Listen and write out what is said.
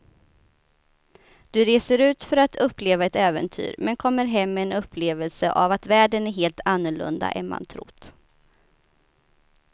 Du reser ut för att uppleva ett äventyr men kommer hem med en upplevelse av att världen är helt annorlunda än man trott.